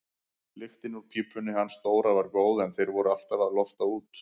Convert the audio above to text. Lyktin úr pípunni hans Dóra var góð en þeir voru alltaf að lofta út.